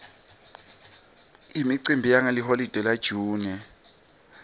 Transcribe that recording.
imicimbi yangeliholide la june